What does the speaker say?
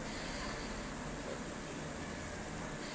Þöll